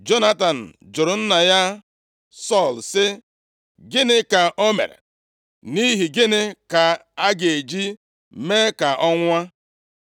Jonatan jụrụ nna ya Sọl sị, “Gịnị ka o mere? Nʼihi gịnị ka a ga-eji mee ka ọ nwụọ?”